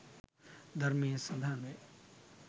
ධර්මයේ සඳහන් වේ.